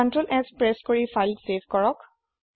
CtrlS press কৰি file save কৰক